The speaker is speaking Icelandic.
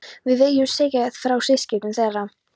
Við segjum síðar frá viðskiptum þeirra.